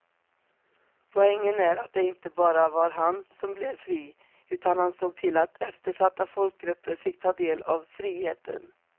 Poängen är att det inte bara var han som blev fri utan han såg till att eftersatta folkgrupper fick ta del av friheten.